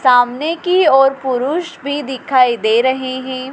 सामने की और पुरुष भी दिखाई दे रहे हैं।